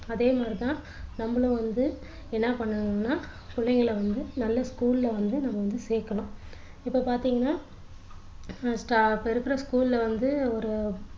அதே மாதிரி தான் நம்மள வந்து என்ன பண்ணணும்னா புள்ளைங்கள வந்து நல்ல school ல வந்து நம்ம வந்து சேர்க்கணும் இப்போ பார்த்தீங்கன்னா இப்போ இருக்குற school ல வந்து ஒரு